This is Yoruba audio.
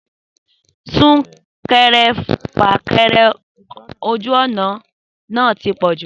Súnkẹrẹ fàkẹrẹ ojú ọ̀nà náà ti pọ̀jù